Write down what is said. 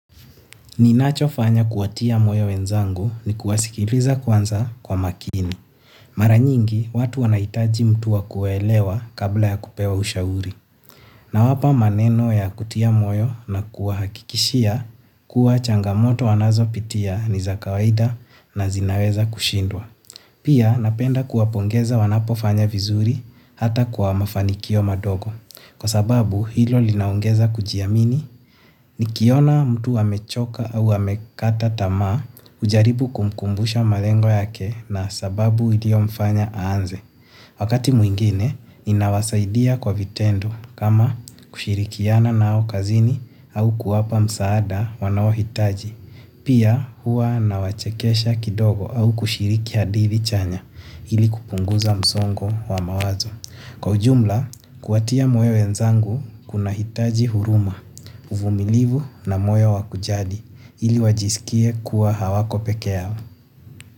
Ninacho fanya kuwatia moyo wenzangu ni kuwasikiliza kwanza kwa makini. Mara nyingi watu wanahitaji mtu wa kuwaelewa kabla ya kupewa ushauri. Na wapa maneno ya kutia moyo na kuwahakikishia kuwa changamoto wanazopitia ni za kawaida na zinaweza kushindwa. Pia napenda kuwapongeza wanapofanya vizuri hata kuwa mafanikio madogo. Kwa sababu hilo linaongeza kujiamini nikiona mtu amechoka au amekata tamaa hujaribu kumkumbusha malengo yake na sababu iliyo mfanya aanze. Wakati mwingine ninawasaidia kwa vitendo kama kushirikiana nao kazini au kuwapa msaada wanaohitaji. Pia huwa nawachekesha kidogo au kushiriki hadithi chanya hili kupunguza msongo wa mawazo. Kwa ujumla kuwatia moyo wenzangu kunahitaji huruma, uvumilivu na moyo wa kujali ili wajiskie kuwa hawako pekee yao.